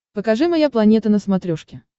покажи моя планета на смотрешке